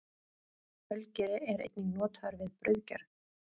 Ölgeri er einnig notaður við brauðgerð.